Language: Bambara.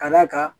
Ka d'a kan